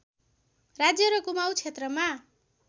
राज्य र कुमाउँ क्षेत्रमा